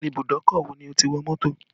Ìbùdókọ̀ wo ni o ti wọ mọ́tò